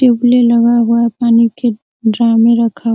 टिकली लगा हुआ डाइवर --